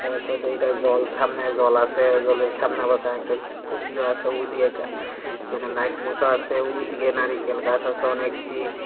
তারপর দেখি এডা জল সামনে জল আছে জলের সামনে আবার কারেন্টের খুঁ-খুঁটিও আছে ওইদিকে এখানে লাইট পোতা আছে ওইদিকে নারিকেল গাস আছে অনেকটি।